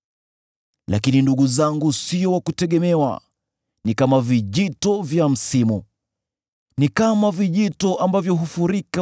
Lakini ndugu zangu sio wa kutegemewa, ni kama vijito vya msimu, ni kama vijito ambavyo hufurika